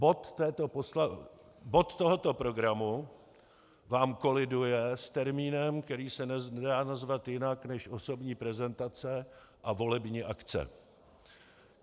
Bod tohoto programu vám koliduje s termínem, který se nedá nazvat jinak než osobní prezentace a volební akce.